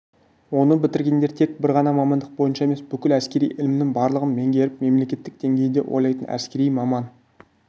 оны бітіргендер тек бір ғана мамандық бойынша емес бүкіл әскери ілімнің барлығын меңгеріп мемлекеттік деңгейде ойлайтын әскери маман